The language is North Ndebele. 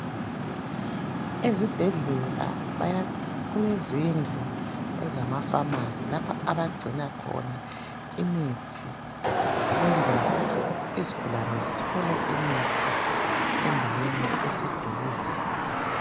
Ezibhedlela baya kulezindlu ezamafamasi lapha abagcina khona imithi ukwenzela ukuthi izigulane zithole imithi endaweni eseduze.